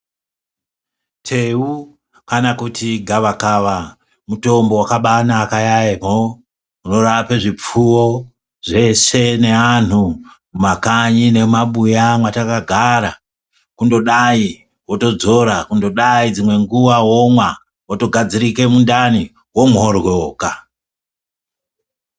Teu kana kuti gavakaka mutombo wakabaanaka yaamho inorape zvipfuwo zveshe neantu mumakanyi nemumabuya mwatakagara kundodai wotodzora ,kundodai dzimweni guwa womwa wogadzirise mundani womhoryoka.